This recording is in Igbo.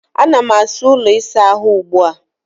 Ana m asa ụlọ ịsa ahụ m ugbu a